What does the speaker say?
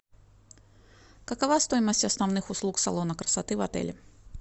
какова стоимость основных услуг салона красоты в отеле